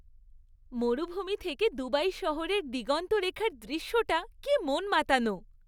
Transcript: মরুভূমি থেকে দুবাই শহরের দিগন্তরেখার দৃশ্যটা কী মন মাতানো!